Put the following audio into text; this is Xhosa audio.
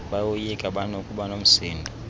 bayoyika banokuba nomsindo